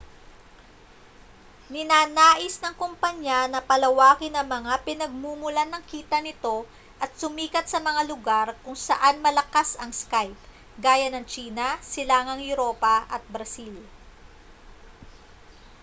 ninanais ng kompanya na palawakin ang mga pinagmumulan ng kita nito at sumikat sa mga lugar kung saan malakas ang skype gaya ng tsina silangang europa at brazil